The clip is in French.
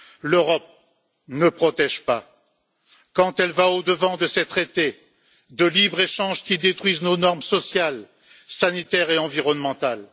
L'Europe ne protège pas quand elle va au devant de ces traités de libre échange qui détruisent nos normes sociales, sanitaires et environnementales.